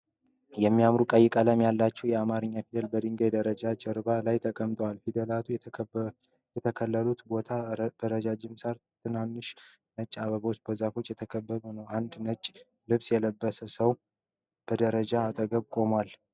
የሚያማምሩ ቀይ ቀለም ያላቸው የአማርኛ ፊደላት በድንጋይ ደረጃዎች ጀርባ ላይ ተቀምጠዋል። ፊደላቱ የተተከሉበት ቦታ በረጃጅም ሣር፣ ትናንሽ ነጭ አበባዎችና በዛፎች የተከበበ ነው። አንድ ነጭ ልብስ የለበሰ ሰው በደረጃዎቹ አጠገብ ቆሟል።